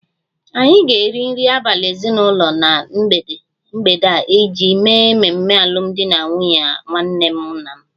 Anyị ga-eri nri abalị ezinụlọ na mgbede a iji mee mmemme alụmdi na nwunye nwanne nna m